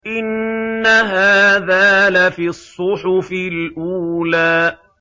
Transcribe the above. إِنَّ هَٰذَا لَفِي الصُّحُفِ الْأُولَىٰ